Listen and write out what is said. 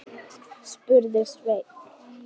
spurði Svein